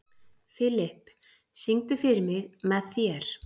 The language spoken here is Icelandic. Filip, syngdu fyrir mig „Með þér“.